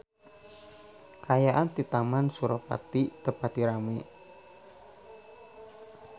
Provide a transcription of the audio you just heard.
Kaayaan di Taman Suropari teu pati rame